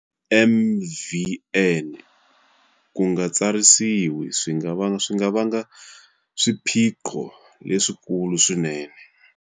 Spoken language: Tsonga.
MvN- Ku nga tsarisiwi swi nga vanga swiphiqo leswikulu swinene.